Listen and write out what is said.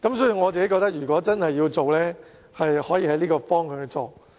所以，我認為如果政府真的要做，可循着這個方向。